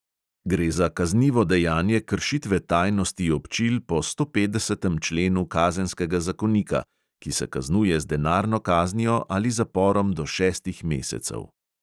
Gre za kaznivo dejanje kršitve tajnosti občil po stopetdesetem členu kazenskega zakonika, ki se kaznuje z denarno kaznijo ali zaporom do šestih mesecev.